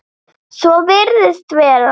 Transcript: Svo virðist vera.